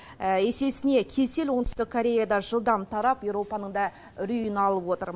есесіне кесел оңтүстік кореяда жылдам тарап еуропаның да үрейін алып отыр